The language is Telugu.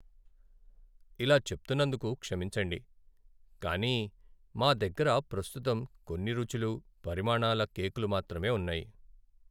ఇలా చెప్తున్నందుకు క్షమించండి, కానీ మా దగ్గర ప్రస్తుతం కొన్ని రుచులు, పరిమాణాల కేక్లు మాత్రమే ఉన్నాయి.